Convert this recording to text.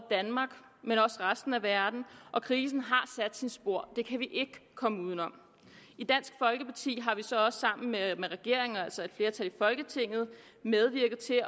resten af verden og krisen har sat sine spor det kan vi ikke komme udenom i dansk folkeparti har vi så også sammen med regeringen og altså et flertal i folketinget medvirket til